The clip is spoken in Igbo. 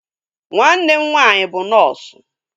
Nwanne m nwaanyị bụ nọọsu